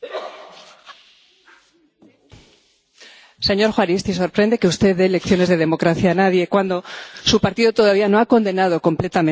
Señor Juaristi, sorprende que usted dé significaciones de democracia a nadie, cuando su partido todavía no ha condenado completamente la violencia política que comandaron en el País Vasco.